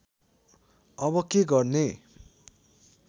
अब के गर्ने